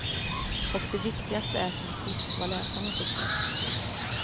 Och det viktigaste är till sist vad läsarna tycker.